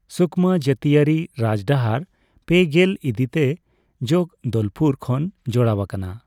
ᱥᱩᱠᱢᱟ ᱡᱟᱹᱛᱤᱭᱟᱹᱨᱤ ᱨᱟᱡᱽᱰᱟᱦᱟᱨ ᱯᱮᱜᱮᱞ ᱤᱫᱤ ᱛᱮ ᱡᱚᱜᱽᱫᱚᱞᱯᱩᱨ ᱠᱷᱚᱱ ᱡᱚᱲᱟᱣ ᱟᱠᱟᱱᱟ ᱾